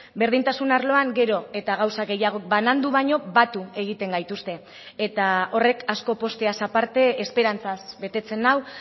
berdintasun arloan gero eta gauza gehiago banandu baino batu egiten gaituzte eta horrek asko pozteaz aparte esperantzaz betetzen nau